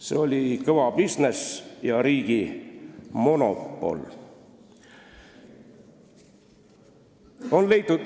See oli kõva bisnis ja riigi monopol.